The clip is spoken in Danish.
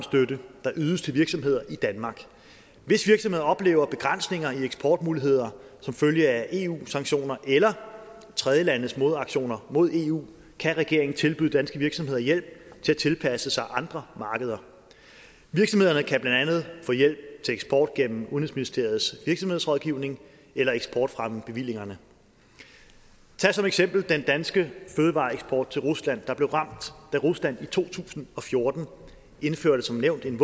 der ydes til virksomheder i danmark hvis virksomheder oplever begrænsninger i eksportmuligheder som følge af eu sanktioner eller tredjelandes modaktioner mod eu kan regeringen tilbyde danske virksomheder hjælp til at tilpasse sig andre markeder virksomhederne kan andet få hjælp til eksport gennem udenrigsministeriets virksomhedsrådgivning eller eksportfremmebevillingerne tag som eksempel den danske fødevareeksport til rusland der blev ramt da rusland i to tusind og fjorten som nævnt